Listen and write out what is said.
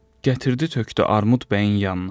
Gətirdi tökdü Armud bəyin yanına.